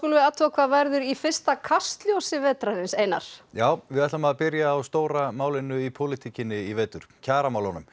við athuga hvað verður í fyrsta Kastljósi vetrarins Einar við ætlum að byrja á stóra málinu í pólitíkinni í vetur kjaramálunum